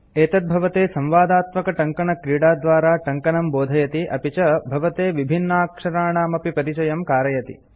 एतत् भवते संवादात्मकटङ्कनक्रीडाद्वारा टङ्कनं बोधयति अपि च भवते विभिन्नाक्षराणामपि परिचयं कारयति